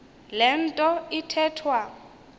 le nto ithethwa